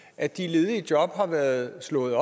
at de ledige job har været slået